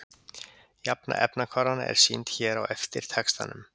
Jafna efnahvarfanna er sýnd hér á eftir textanum.